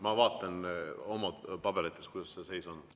Ma vaatan oma paberitest, kuidas see seis on.